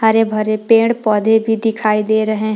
हरे भरे पेड़ पौधे भी दिखाई दे रहे हैं।